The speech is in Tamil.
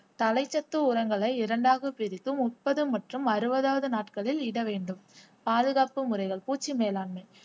தலைச்சத்து உரங்களை இரண்டாக பிரித்து முப்பது மற்றும் அறுபதாவது நாட்களில் இட வேண்டும் பாதுகாப்பு முறைகள் பூச்சி மேலாண்மை